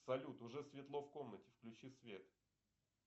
салют уже светло в комнате включи свет